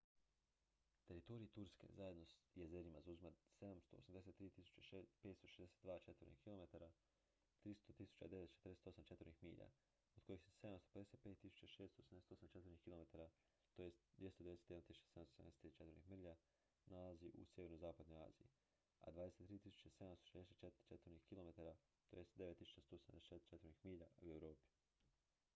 teritorij turske zajedno s jezerima zauzima 783.562 četvornih kilometara 300.948 četvornih milja od kojih se 755.688 četvornih kilometara 291.773 četvornih milja nalazi u sjeverozapadnoj aziji a 23.764 četvornih kilometara 9174 četvornih milja u europi